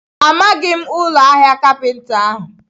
Amaghị m ụlọ ahịa kapinta ahụ.